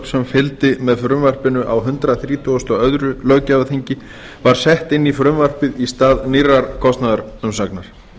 sem fylgdi með frumvarpinu á hundrað þrítugasta og öðrum löggjafarþingi var sett inn í frumvarpið í stað nýrrar kostnaðarumsagnar